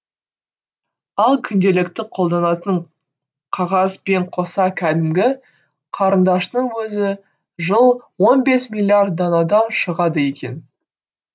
ал күнделікті қолданатын қағаз бен қоса кәдімгі қарындаштың өзі жыл он бес миллиард данадан шығады екен